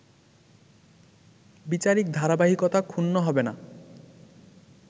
বিচারিক ধারাবাহিকতা ক্ষুণ্নহবে না